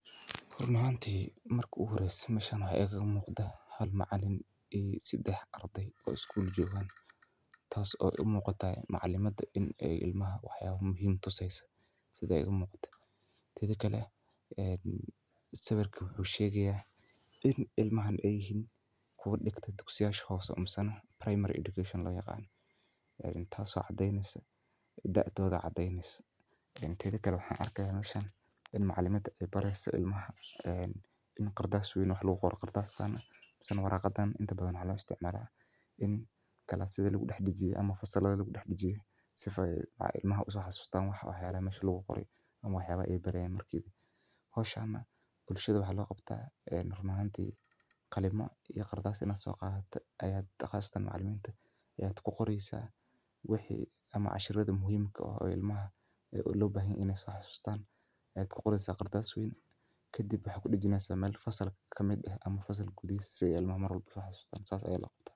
Run ahanti marki igu horeyse meshan waxaa iga muqda hal macalin iyo sedax ardey oo isgul jogan tas oo u muqada macalimada in ee ilmaha wax muhiim ah tuseso seumuqato tedha kale sawirka wuxuu shegeya in ilmaha ee yihin muhiim kuwa digta dugsiyasha hose mase primary education lo yaqano tas oo cadetnesa daadodha tetha waxan arki haya in macalimada ee bari hayso en qardas wey wax lagu qoro qardastan waraqadan inta badan waxaa lo isticmala in fasaladha lagu dax dajiyo sifa ee ilmaha uso xasustan waxyalaha mesha lagu qore ama waxyalaha ee baryayan marka kale hoshana bulahaada maxaa lo qabtaa run ahanti qalimo iyo qardas sina soqadate qardasta macaliminta aya ku qoreysa wixi ama cashiradhi muhiim ka ah oo lobahan yahay in dumiso kadib waxaa kudajineysa meel fasalka kamiid ah ama fasalka gudahisa si ee ilmaha uso xasustan sas aya ila quman.